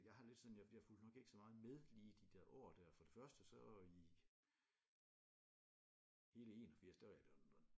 Jeg har jeg har det lidt sådan jeg fulgte nok ikke så meget med lige i de det år der for det første så i hele 81 da var jeg i London